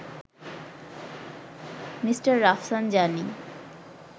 Mr Rafsanjani